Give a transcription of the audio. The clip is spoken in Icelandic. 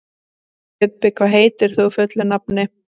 Bubbi, hvað heitir þú fullu nafni?